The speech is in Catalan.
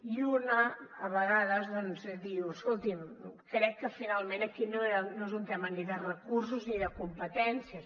i una a vegades doncs diu escolti’m crec que finalment aquí no és un tema ni de recursos ni de competències